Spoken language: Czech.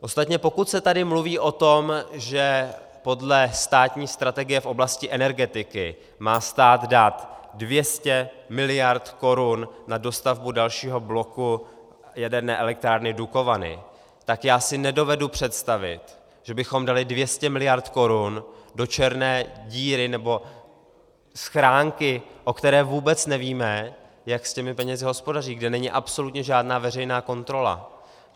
Ostatně pokud se tady mluví o tom, že podle státní strategie v oblasti energetiky má stát dát 200 miliard korun na dostavbu dalšího bloku jaderné elektrárny Dukovany, tak já si nedovedu představit, že bychom dali 200 miliard korun do černé díry nebo schránky, o které vůbec nevíme, jak s těmi penězi hospodaří, kde není absolutně žádná veřejná kontrola.